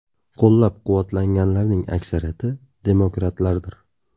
Qo‘llab-quvvatlaganlarning aksariyati demokratlardir.